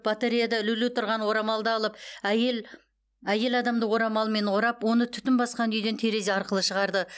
батареяда ілулі тұрған орамалды алып әйел адамды орамалмен орап оны түтін басқан үйден терезе арқылы шығарды